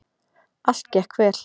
Allt gekk vel.